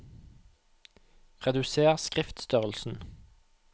Reduser skriftstørrelsen